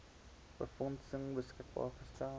befondsing beskikbaar gestel